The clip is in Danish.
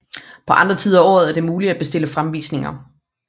På andre tider af året er det muligt at bestille fremvisninger